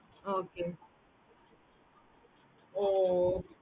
okay mam